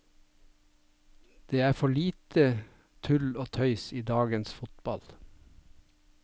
Det er for lite tull og tøys i dagens fotball.